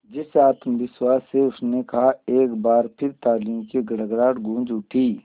जिस आत्मविश्वास से उसने कहा एक बार फिर तालियों की गड़गड़ाहट गूंज उठी